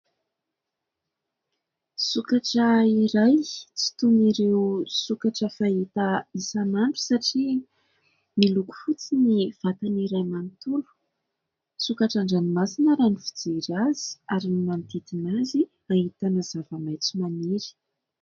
Sokatra iray, tsy toin'ireo sokatra fahita isanandro satria miloko fotsy ny vatan'iray manontolo. Sokatra an-dranomasina raha ny fijery azy, ary ny manodidina azy ahitana zava maintso maniry.